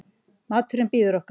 Maðurinn bíður okkar.